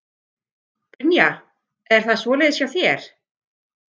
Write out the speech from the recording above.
Brynja: Er það svoleiðis hjá þér?